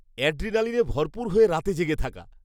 অ্যাড্রিনালিনে ভরপুর হয়ে রাতে জেগে থাকা।